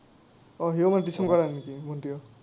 অ, সিও মানে টিউচন কৰে নেকি, ভণ্টীয়েও?